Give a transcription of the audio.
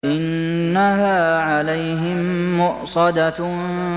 إِنَّهَا عَلَيْهِم مُّؤْصَدَةٌ